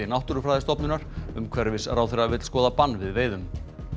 Náttúrufræðistofnunar umhverfisráðherra vill skoða bann við veiðum